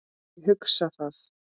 Ég hugsa það.